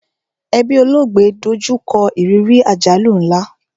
Ẹbí olóògbé do jú kọ ìrírí àjálù nla